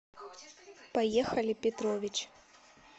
поехали петрович